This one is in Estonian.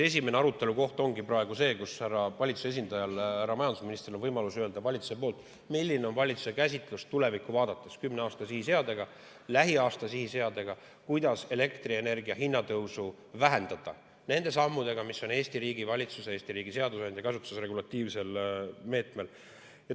Esimene arutelukoht ongi praegu see, kus valitsuse esindajal härra majandusministril on võimalus öelda valitsuse poolt, milline on valitsuse käsitlus tulevikku vaadates, kümne aasta sihiseadega, lähiaasta sihiseadega, kuidas elektrienergia hinna tõusu vähendada nende sammudega, mis on Eesti riigi valitsuse, Eesti riigi seadusandja käsutuses regulatiivse meetmena.